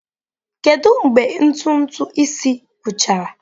Kedu mgbe ntụtụ isi gwụchara?